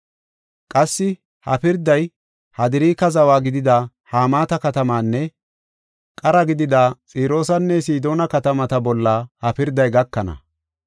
Qassi ha pirday Hadraaka zawa gidida Hamaata katamaanne qara gidida Xiroosanne Sidoona katamata bolla ha pirday gakana.